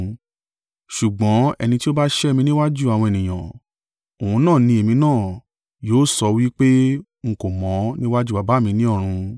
Ṣùgbọ́n ẹni tí ó bá sẹ́ mí níwájú àwọn ènìyàn, òun náà ni èmi náà yóò sọ wí pé n kò mọ̀ níwájú Baba mi ní ọ̀run.